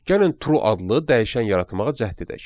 Gəlin True adlı dəyişən yaratmağa cəhd edək.